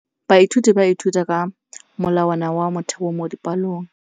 Baithuti ba ithuta ka molawana wa motheo mo dipalong.